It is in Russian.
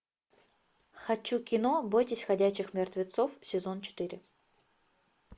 хочу кино бойтесь ходячих мертвецов сезон четыре